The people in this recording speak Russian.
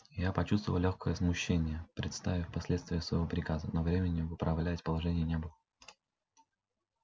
я почувствовал лёгкое смущение представив последствия своего приказа но времени выправлять положение не было